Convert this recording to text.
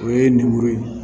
O ye lemuru ye